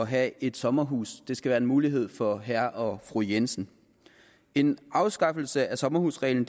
have et sommerhus det skal være en mulighed for herre og fru jensen en afskaffelse af sommerhusreglen